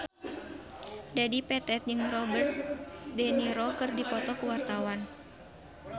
Dedi Petet jeung Robert de Niro keur dipoto ku wartawan